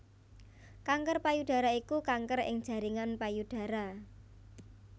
Kanker payudara iku kanker ing jaringan payudara